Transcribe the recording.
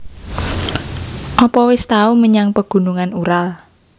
Opo wis tau menyang Pegunungan Ural